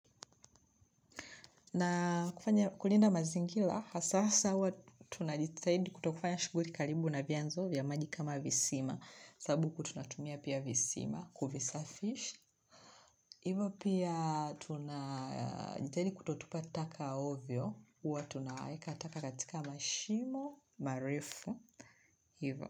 Na kulinda mazingira, hasa sawa tunajitahidi kutokufanya shughuli karibu na vyanzo vya maji kama visima. Sababu huku tunatumia pia visima, kuvisafisha. Hivo pia tunajitahidi kutotupa taka ovyo, huwa tunaeka taka katika mashimo, marefu, hivo.